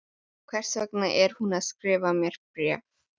Hvers vegna er hún að skrifa mér bréf?